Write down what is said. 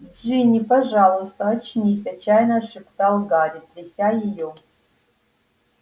джинни пожалуйста очнись отчаянно шептал гарри тряся её